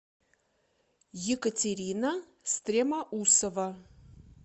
екатерина стремоусова